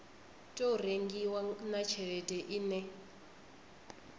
tou rengiwa na tshelede ine